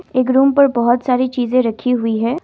एक रूम पर बहुत सारी चीज रखी हुई है।